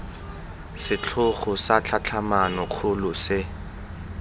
setlhogo sa tlhatlhamano kgolo se